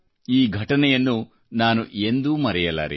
ಈ ಘಟನೆಯನ್ನು ನಾನು ಎಂದೂ ಮರೆಯಲಾರೆ